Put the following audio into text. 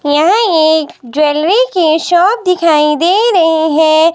यह एक ज्वेलरी की शॉप दिखाई दे रही है।